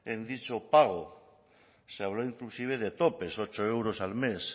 en dicho pago se habló inclusive de topes ocho euros al mes